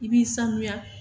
I b'i sanuya